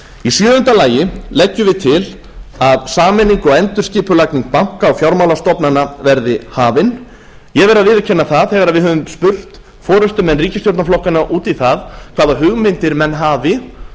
í sjöunda lagi leggjum við til að sameining og endurskipulagning banka og fjármálastofnana verði hafin ég verð að viðurkenna það að þegar við höfum spurt forustumenn ríkisstjórnarflokkanna út í það hvaða hugmyndir menn hafi